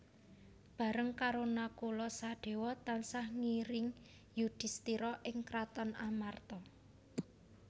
Bareng karo Nakula Sadéwa tansah ngiring Yudhistira ing kraton Amarta